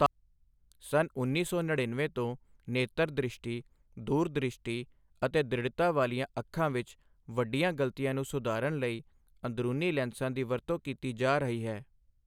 ਸੰਨ ਉੱਨੀ ਸੌ ਨੜੀਨਵੇਂ ਤੋਂ ਨੇਤਰ ਦ੍ਰਿਸ਼ਟੀ, ਦੂਰ ਦ੍ਰਿਸ਼ਟੀ ਅਤੇ ਦ੍ਰਿੜਤਾ ਵਾਲੀਆਂ ਅੱਖਾਂ ਵਿੱਚ ਵੱਡੀਆਂ ਗਲਤੀਆਂ ਨੂੰ ਸੁਧਾਰਨ ਲਈ ਅੰਦਰੂਨੀ ਲੈਂਸਾਂ ਦੀ ਵਰਤੋਂ ਕੀਤੀ ਜਾ ਰਹੀ ਹੈ।